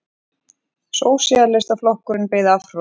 Sósíalistaflokkurinn beið afhroð